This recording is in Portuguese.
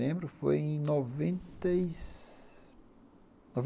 Lembro, foi em noventa e